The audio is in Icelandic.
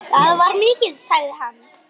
Það var mikið, sagði hann.